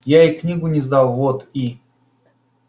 я ей книгу не сдал вот и